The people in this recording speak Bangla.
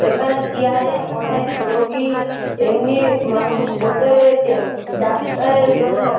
এখানে চিয়ার -এ অনেক রোগী এমনি মানুষ বসে রয়েছে ডাক্তারের জন্য।